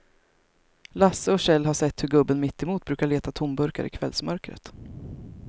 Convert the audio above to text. Lasse och Kjell har sett hur gubben mittemot brukar leta tomburkar i kvällsmörkret.